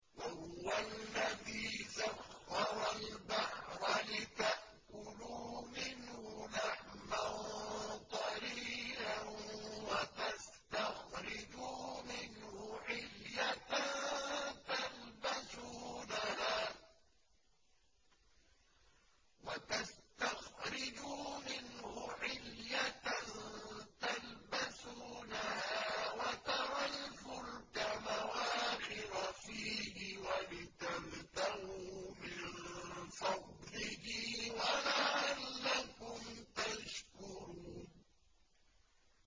وَهُوَ الَّذِي سَخَّرَ الْبَحْرَ لِتَأْكُلُوا مِنْهُ لَحْمًا طَرِيًّا وَتَسْتَخْرِجُوا مِنْهُ حِلْيَةً تَلْبَسُونَهَا وَتَرَى الْفُلْكَ مَوَاخِرَ فِيهِ وَلِتَبْتَغُوا مِن فَضْلِهِ وَلَعَلَّكُمْ تَشْكُرُونَ